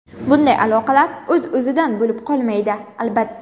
Bunday aloqalar o‘z-o‘zidan bo‘lib qolmaydi, albatta.